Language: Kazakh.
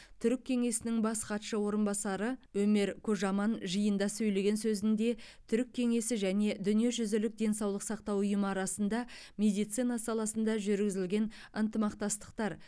түрік кеңесінің бас хатшы орынбасары өмер кожаман жиында сөйлеген сөзінде түрік кеңесі және дүниежүзілік денсаулық сақтау ұйымы арасында медицина саласында жүргізілген ынтымақтастықтар